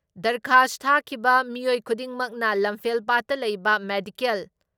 ꯗꯔꯈꯥꯁ ꯊꯥꯈꯤꯕ ꯃꯤꯑꯣꯏ ꯈꯨꯗꯤꯡꯃꯛꯅ ꯂꯝꯐꯦꯜꯄꯥꯠꯇ ꯂꯩꯕ ꯃꯦꯗꯤꯀꯦꯜ